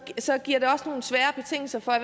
så giver det også nogle svære betingelser for